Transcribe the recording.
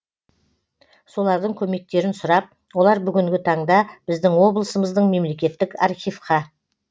солардың көмектерін сұрап олар бүгінгі таңда біздің облысымыздың мемлекеттік архивқа